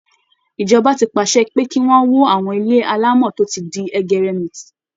Ìjọba ti pàṣẹ pé kí wọ́n wó àwọn ilé alámọ̀ tó ti di ẹgẹrẹmìtì